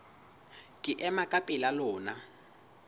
ke ema ka pela lona